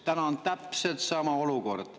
Täna on täpselt sama olukord.